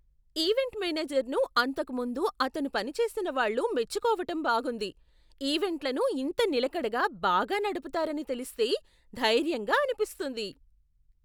Event మేనేజర్ను అంతకు ముందు అతను పనిచేసిన వాళ్ళు మెచ్చుకోవటం బాగుంది. ఈవెంట్లను ఇంత నిలకడగా బాగా నడపుతారని తెలిస్తే ధైర్యంగా అనిపిస్తుంది.